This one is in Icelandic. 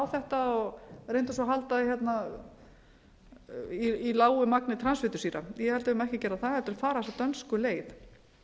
þetta og reyndu svo að halda þig í lágu magni transfitusýra ég held að við eigum ekki að gera það heldur fara þessa dönsku leið